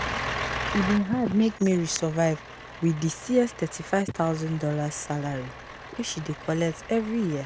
e bin hard make mary survive wit di thirty five thousand dollars salary wey she dey collect every year